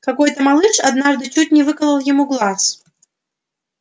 какой то малыш однажды чуть не выколол ему глаз